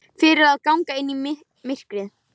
Fyrir að ganga inn í myrkrið.